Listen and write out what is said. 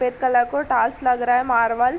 pick colour को tiles लग रहा है मार्वल --